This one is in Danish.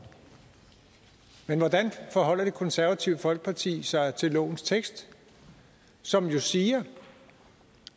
men hvordan forholder det konservative folkeparti sig til lovens tekst som jo siger